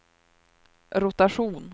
rotation